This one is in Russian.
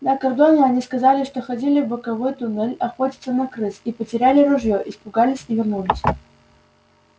на кордоне они сказали что ходили в боковой туннель охотиться на крыс и потеряли ружьё испугались и вернулись